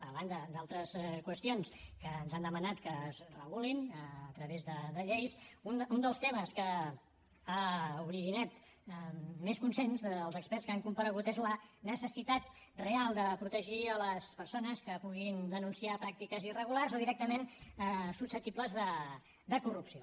a banda d’altres qüestions que ens han demanat que es regulin a través de lleis un dels temes que ha originat més consens dels experts que han comparegut és la necessitat real de protegir les persones que puguin denunciar pràctiques irregulars o directament susceptibles de corrupció